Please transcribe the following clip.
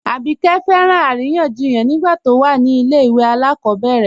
Abíkẹ́ fẹ́ràn aríyànjíyàn nígbà tó wà ní ilẹ̀ ìwé alákobèrè